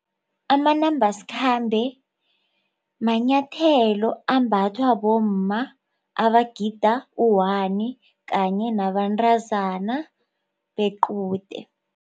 Amanambasikhambe manyathelo ambathwa bomma abagida u-one kanye nabantazana bequde.